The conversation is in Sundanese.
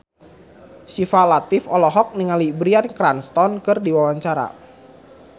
Syifa Latief olohok ningali Bryan Cranston keur diwawancara